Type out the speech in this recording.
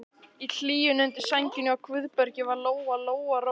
Í hlýjunni undir sænginni hjá Guðbergi varð Lóa-Lóa rólegri.